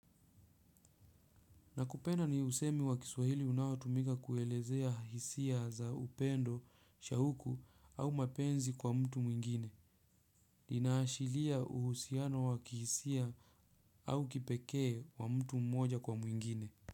Nakupenda ni usemi wa kiswahili unaotumika kuelezea hisia za upendo, shauku au mapenzi kwa mtu mwingine. Inaashilia uhusiano wa kihisia au kipekee wa mtu mmoja kwa mwingine.